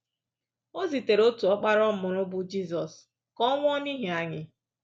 O zitere otu ọkpara ọ mụrụ, bụ Jizọs, ka ọ nwụọ n’ihi anyị.